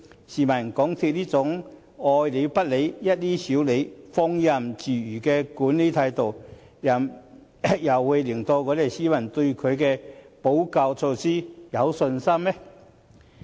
試問港鐵公司這種"愛理不理、一於少理"、放任自如的管理態度，怎能令市民對他們的補救措施有信心？